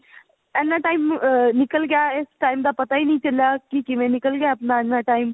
ਇਹਨਾ time ਨਿੱਕਲ ਗਿਆ ਇਸ time ਦਾ ਪਤਾ ਹੀ ਨਹੀ ਚੱਲਿਆ ਕਿ ਕਿਵੇਂ ਨਿੱਕਲ ਗਿਆ ਆਪਣਾ ਇਹਨਾ ਟਾਇਮ